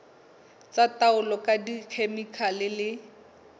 tsa taolo ka dikhemikhale le